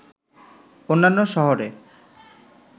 অন্যান্য শহরে